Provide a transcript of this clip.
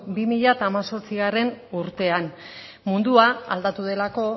bi mila hemezortzi urtean mundua aldatu delako